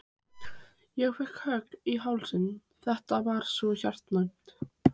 Ég fékk kökk í hálsinn, þetta var svo hjartnæmt.